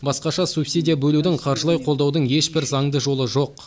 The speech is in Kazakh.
басқаша субсидия бөлудің қаржылай қолдаудың ешбір заңды жолы жоқ